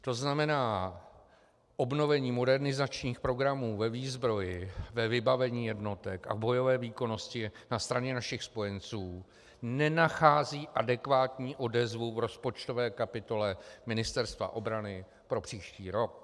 To znamená obnovení modernizačních programů ve výzbroji, ve vybavení jednotek a v bojové výkonnosti na straně našich spojenců nenachází adekvátní odezvu v rozpočtové kapitole Ministerstva obrany pro příští rok.